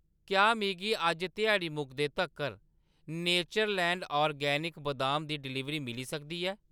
क्या मिगी अज्ज ध्याड़ी मुकदे तक्कर नेचरलैंड ऑर्गेनिक बदाम दी डलीवरी मिली सकदी ऐ ?